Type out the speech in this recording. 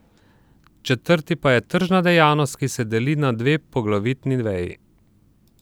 Četrti pa je tržna dejavnost, ki se deli na dve poglavitni veji.